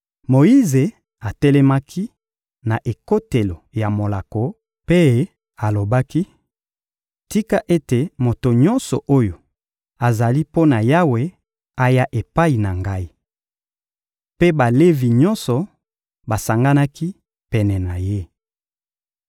Moyize atelemaki na ekotelo ya molako mpe alobaki: — Tika ete moto nyonso oyo azali mpo na Yawe aya epai na ngai. Mpe Balevi nyonso basanganaki pene na ye.